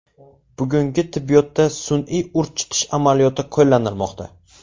Bugungi tibbiyotda sun’iy urchitish amaliyoti qo‘llanilmoqda.